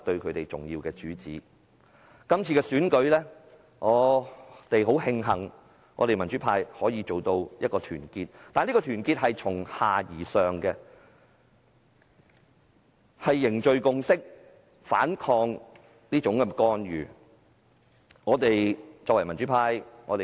我們很慶幸在這次選舉中，我們民主派可以如此團結，但這團結是由下而上的，是凝聚共識和反抗干預而來的。